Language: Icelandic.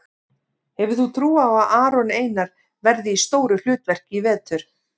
Hefur þú trú á að Aron Einar verði í stóru hlutverki í vetur?